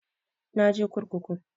Na je kurkuku